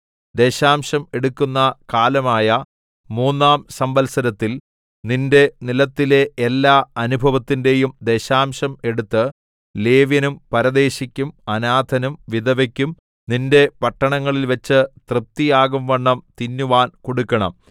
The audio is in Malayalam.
ദശാംശം എടുക്കുന്ന കാലമായ മൂന്നാം സംവത്സരത്തിൽ നിന്റെ നിലത്തിലെ എല്ലാ അനുഭവത്തിന്റെയും ദശാംശം എടുത്ത് ലേവ്യനും പരദേശിക്കും അനാഥനും വിധവയ്ക്കും നിന്റെ പട്ടണങ്ങളിൽവച്ച് തൃപ്തിയാകുംവണ്ണം തിന്നുവാൻ കൊടുക്കണം